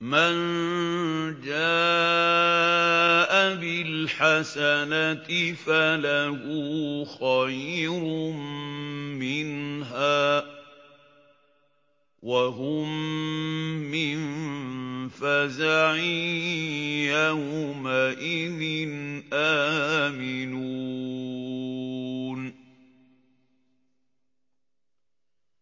مَن جَاءَ بِالْحَسَنَةِ فَلَهُ خَيْرٌ مِّنْهَا وَهُم مِّن فَزَعٍ يَوْمَئِذٍ آمِنُونَ